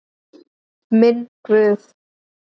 Minn Guð.